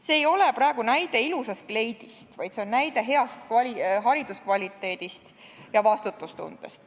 See ei ole praegu näide ilusast kleidist, vaid see on näide heast hariduskvaliteedist ja vastutustundest.